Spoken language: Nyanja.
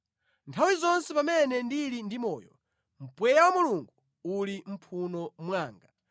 nthawi zonse pamene ndili ndi moyo, mpweya wa Mulungu uli mʼmphuno mwanga,